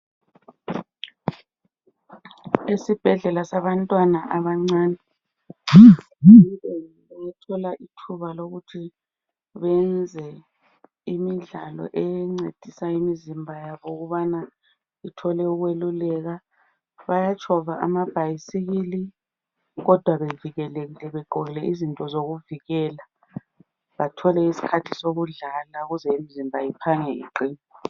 Isibhedlela sabantwana abancane lapho abathola ithuba lokuthi beyenze imidlalo encedisa imizimba yabo ukuze ithole ukweluleka. Bayatshova amabhyisikili kodwa bevikelekile ukubana imizimba yabo iphange iqine.